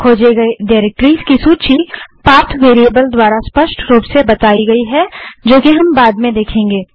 खोजे गए डाइरेक्टरीज़ की सूची पाथ वेरीएबल द्वारा स्पष्ट रूप से बताई गयी है जो कि हम बाद में देखेंगे